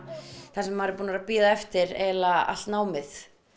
það sem maður er búinn að bíða eftir allt námið